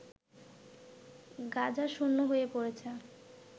গাঁজা শূন্য হয়ে পড়েছে